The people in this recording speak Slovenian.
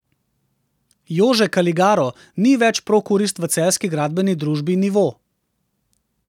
Jože Kaligaro ni več prokurist v celjski gradbeni družbi Nivo.